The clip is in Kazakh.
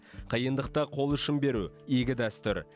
қиындықта қол ұшын беру игі дәстүр